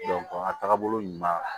a taagabolo ɲuman